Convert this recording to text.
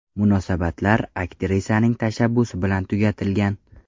Munosabatlar aktrisaning tashabbusi bilan tugatilgan.